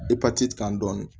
Epatiti kan dɔɔni